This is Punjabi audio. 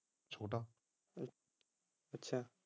ਅੱਛਾ